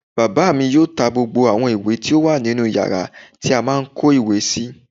Bàbá mi yóò ta gbogbo àwọn ìwé tó wà nínu yàrá tí a má n kó ìwé sí